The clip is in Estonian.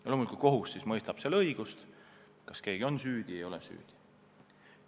Loomulikult siis kohus mõistab õigust ja langetab otsuse, kas keegi on süüdi või ei ole süüdi.